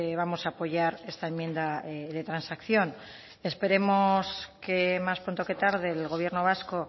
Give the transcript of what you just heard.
vamos a apoyar esta enmienda de transacción esperemos que más pronto que tarde el gobierno vasco